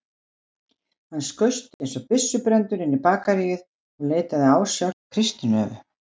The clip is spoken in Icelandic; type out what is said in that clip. Hann skaust einsog byssubrenndur inn í bakaríið og leitaði ásjár hjá Kristínu Evu.